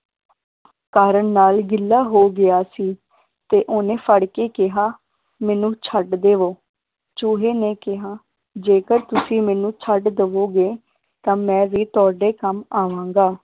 ਕਾਰਨ ਨਾਲ ਗਿੱਲਾ ਹੋ ਗਿਆ ਸੀ ਤੇ ਓਹਨੇ ਫੜ ਕੇ ਕਿਹਾ ਮੈਨੂੰ ਛੱਡ ਦੇਵੋ, ਚੂਹੇ ਨੇ ਕਿਹਾ ਜੇਕਰ ਤੁਸੀ ਮੈਨੂੰ ਛੱਡ ਦੇਵੋਗੇ ਤਾਂ ਮੈ ਵੀ ਤੁਹਾਡੇ ਕੰਮ ਆਵਾਂਗਾ